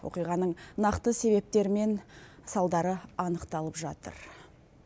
оқиғаның нақты себептері мен салдары анықталып жатыр